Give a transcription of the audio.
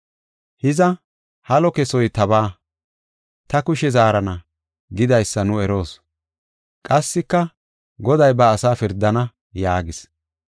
Hiza, “Halo kesoy tabaa, ta kushe zaarana” gidaysa nu eroos. Qassika, “Goday ba asa pirdana” yaagis.